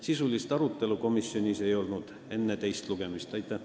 Sisulist arutelu komisjonis enne teist lugemist ei olnud.